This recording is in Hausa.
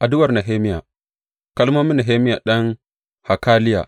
Addu’ar Nehemiya Kalmomin Nehemiya ɗan Hakaliya.